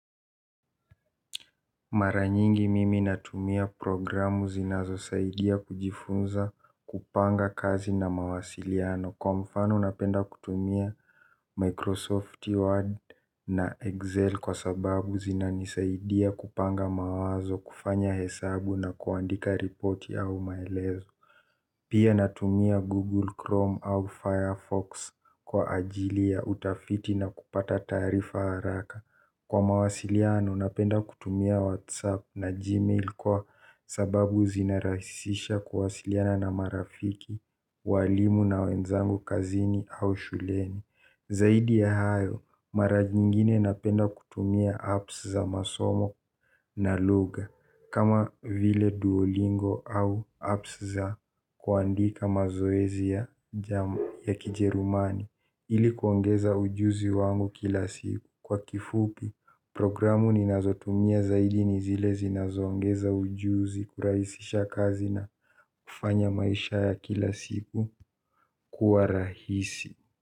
Mara nyingi mimi natumia programu zinazo saidia kujifunza kupanga kazi na mawasiliano kwa mfano napenda kutumia Microsoft Word na Excel kwa sababu zinanisaidia kupanga mawazo kufanya hesabu na kuandika repoti au maelezo. Pia natumia Google Chrome au Firefox kwa ajili ya utafiti na kupata taarifa haraka. Kwa mawasiliano, napenda kutumia WhatsApp na Gmail kwa sababu zinarahisisha kuwasiliana na marafiki, walimu na wenzangu kazini au shuleni zaidi ya hayo mara jiingine napenda kutumia apps za masomo na lugha kama vile duolingo au apps za kuandika mazoezi ya kijerumani ili kuongeza ujuzi wangu kila siku kwa kifupi programu ninazotumia zaidi ni zile zinazoongeza ujuzi kurahisisha kazi na kufanya maisha ya kila siku kuwa rahisi.